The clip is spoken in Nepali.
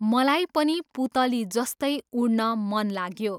मलाई पनि पुतली जस्तै उड्न मन लाग्यो।